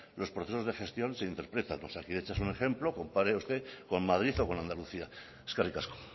los procesos de gestión se interpretan osakidetza es un ejemplo compare usted con madrid o con andalucía eskerrik asko